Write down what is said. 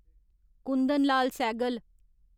Kundan Lal Sehgal